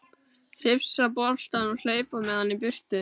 Hrifsa boltann og hlaupa með hann í burtu.